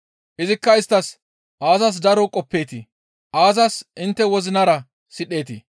Izikka isttas, «Aazas daro qoppeetii? Aazas intte wozinara sidheetii?